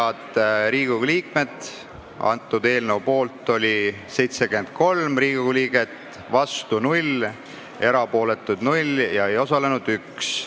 Hääletustulemused Head Riigikogu liikmed, poolt oli 73 Riigikogu liiget, vastu ei olnud keegi, erapooletuks ei jäänud keegi ja ei osalenud 1.